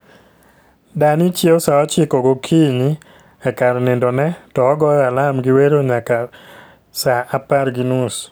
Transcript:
Dani chiew saa ochiko gokinyi e kar nindo ne, to ogoyo alam gi wero nyaka saa apar gi nus